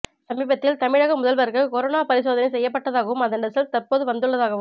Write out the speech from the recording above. சமீபத்தில் தமிழக முதல்வருக்கு கொரோனா பரிசோதனை செய்யப்பட்டதாகவும் அதன் ரிசல்ட் தற்போது வந்துள்ளதாகவும்